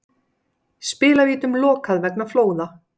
Spilavítum lokað vegna flóða